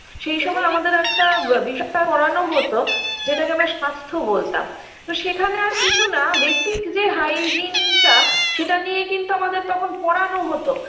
সেই সময় আমাদের একটা বা বিষয় পড়ানো হতো যেটাকে আমরা স্বাস্থ্য বলতাম তো সেখানে আর কিছু না basic -যে hygiene -টা সেটা নিয়ে কিন্তু আমাদের তখন পড়ানো হতো